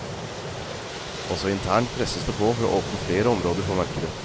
Også internt presses det på for å åpne flere områder for markedet.